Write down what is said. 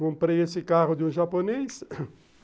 Comprei esse carro de um japonês